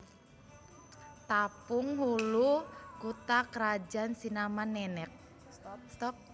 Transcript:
Tapung Hulu kutha krajan Sinama Nenek